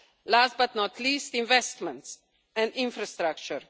Last but not least, investments and infrastructure.